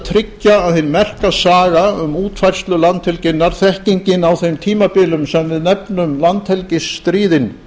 tryggja að hin merka saga um útfærslu landhelginnar þekkingin á þeim tímabilum sem við nefnum landhelgisstríðin